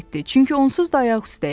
Çünki onsuz da ayaq üstəyəm.